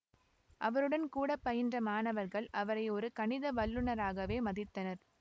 அவருடன் கூடப்பயின்ற மாணவர்கள் அவரை ஒரு கணித வல்லுனராகவே மதித்தனர்